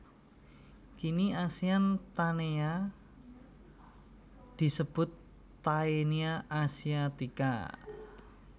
Kini Asian Taenia disebut Taenia asiatica